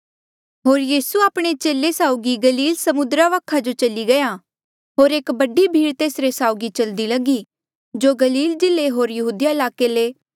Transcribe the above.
होर यीसू आपणे चेले साउगी गलील समुद्रा वखा जो चली गया होर एक बडी भीड़ तेसरे साउगी चलदी लगी जो गलील जिल्ले होर यहूदिया ईलाके ले